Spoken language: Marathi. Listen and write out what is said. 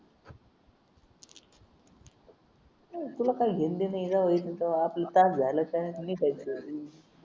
तुला पाहिजे ते मिळाले ते आपलं काय झालं काय